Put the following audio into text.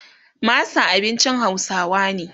masa abincin hausawa ne